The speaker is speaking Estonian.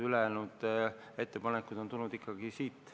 Ülejäänud ettepanekud on tulnud ikkagi siit.